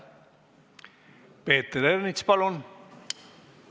Peeter Ernits, palun!